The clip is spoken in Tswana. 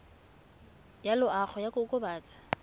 ya loago ya go kokobatsa